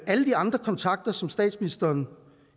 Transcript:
alle de andre kontakter som statsministeren